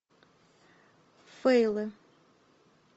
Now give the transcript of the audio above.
фэйлы